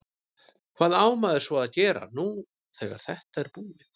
Hvað á maður svo að gera nú þegar þetta er búið?